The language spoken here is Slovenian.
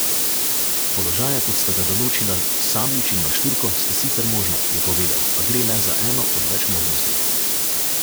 Položaja, kot sta ga določila Sablič in Maštruko, sta sicer možna, je povedal, a gre le za eno od več možnosti.